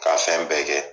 K'a fɛn bɛɛ kɛ